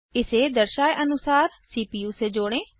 इसे दर्शाये अनुसार सीपीयू से जोड़ें